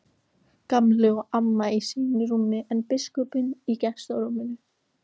Gamli og amma í sínum rúmum en biskupinn í gestarúminu.